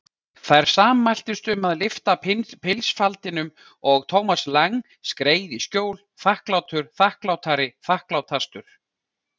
Þær sammæltust um að lyfta pilsfaldinum og Thomas Lang skreið í skjól, þakklátur, þakklátari, þakklátastur.